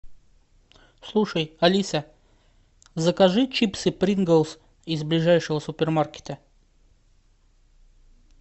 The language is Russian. слушай алиса закажи чипсы принглс из ближайшего супермаркета